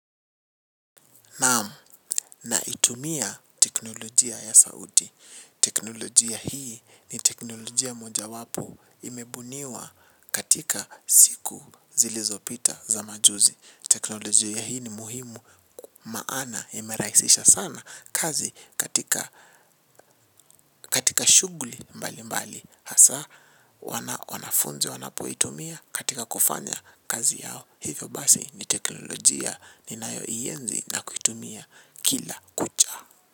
Naitumia teknolojia ya sauti. Teknolojia hii ni teknolojia mojawapo imebuniwa katika siku zilizopita za majuzi. Teknolojia hii ni muhimu. Maana imerahisisha sana kazi katika shughuli mbalimbali. Hasa wanafunzi wanapoitumia katika kufanya kazi yao hivyo basi ni teknolojia ninayoienzi na kuitumia kila kucha.